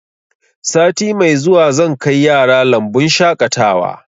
Sati mai zuwa zan kai yara lambun shaƙatawa